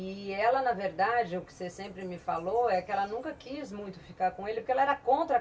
E ela, na verdade, o que você sempre me falou, é que ela nunca quis muito ficar com ele, porque ela era contra